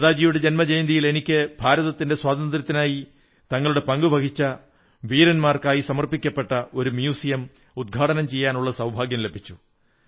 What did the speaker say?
നേതാജിയുടെ ജന്മജയന്തിയിൽ എനിക്ക് ഭാരതത്തിന്റെ സ്വാതന്ത്ര്യത്തിനായി തങ്ങളുടെ പങ്കു വഹിച്ച വീരന്മാർക്കായി സമർപ്പിക്കപ്പെട്ട ഒരു മ്യൂസിയം ഉദ്ഘാടനം ചെയ്യാനുള്ള സൌഭാഗ്യം ലഭിച്ചു